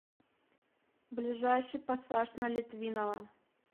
ближайший пассаж на литвинова